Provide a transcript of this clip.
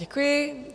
Děkuji.